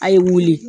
A' ye wuli